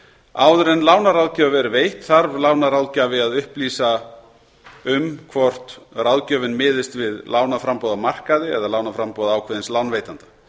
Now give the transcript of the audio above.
áður en lánaráðgjöf er veitt þarf lánaráðgjafi að upplýsa um hvort ráðgjöfin miðist við lánaframboð á markaði eða lánaframboð ákveðins lánveitanda